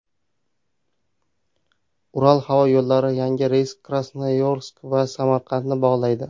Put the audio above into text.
Ural havo yo‘llari yangi reysi Krasnoyarsk va Samarqandni bog‘laydi.